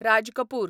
Raj Kapoor